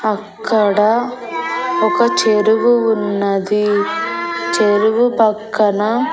అక్కడ ఒక చెరువు ఉన్నది చెరువు పక్కన.